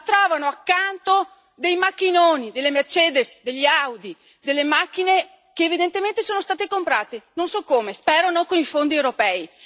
Ma trovano accanto dei macchinoni, delle Mercedes, delle Audi, delle macchine che evidentemente sono state comprate, non so come, spero non con i fondi europei.